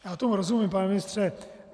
Já tomu rozumím, pane ministře.